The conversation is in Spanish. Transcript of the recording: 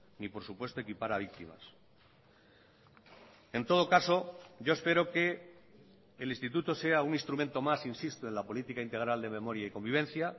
ni por supuesto equipara víctimas en todo caso yo espero que el instituto sea un instrumento más insisto en la política integral de memoria y convivencia